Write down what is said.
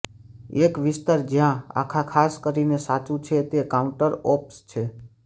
એક વિસ્તાર જ્યાં આ ખાસ કરીને સાચું છે તે કાઉન્ટરપોપ્સ છે